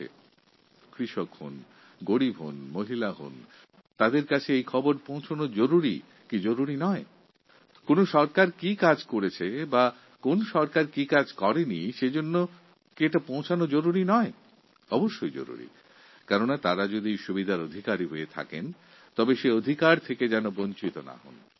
এই সুখবরটি কৃষক দরিদ্র যুবক মহিলা সবার কাছে পৌঁছানো কি জরুরি নয় কোন সরকার কাজ করেছে কোন সরকার কাজ করেনি সেই খবর পৌঁছানোর দরকার নেই যেটা পৌঁছনোর দরকার সেটা হলো তাঁরা কি পেতে পারেন সেটা থেকে তাঁদের যেন বঞ্চিত করা না হয়